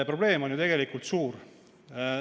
Probleem on ju tegelikult suur.